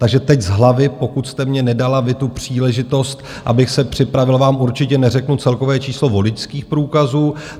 Takže teď z hlavy, pokud jste mně nedala vy tu příležitost, abych se připravil, vám určitě neřeknu celkové číslo voličských průkazů.